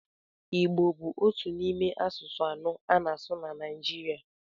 Igbo bụ otu n'ime asụsụ anọ a na-asụ na Naịjirịa.